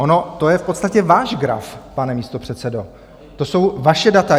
On to je v podstatě váš graf, pane místopředsedo, to jsou vaše data.